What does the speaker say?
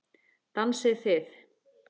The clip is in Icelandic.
Dansið þið.